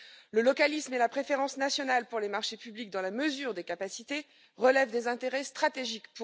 Le localisme et la préférence nationale pour les marchés publics, dans la mesure des capacités, relèvent pour nous des intérêts stratégiques.